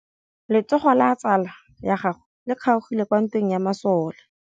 Letsôgô la tsala ya gagwe le kgaogile kwa ntweng ya masole.